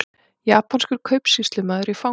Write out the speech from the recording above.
Japanskur kaupsýslumaður í fangelsi